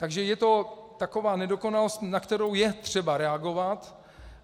Takže je to taková nedokonalost, na kterou je třeba reagovat.